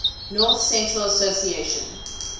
north central association